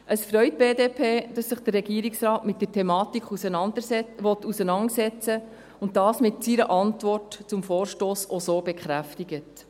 Es freut die BDP, dass sich der Regierungsrat mit der Thematik auseinandersetzen will und dies mit seiner Antwort zum Vorstoss auch so bekräftigt.